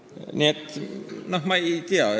Nii et ma ei tea.